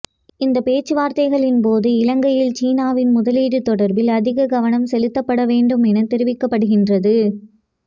இந்த பேச்சுவார்த்தைகளின் போது இலங்கையில் சீனாவின் முதலீடு தொடர்பில் அதிக கவனம் செலுத்தப்படுமென தெரிவிக்கப்படுகின்றது